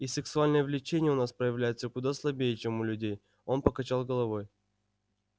и сексуальное влечение у нас проявляется куда слабее чем у людей он покачал головой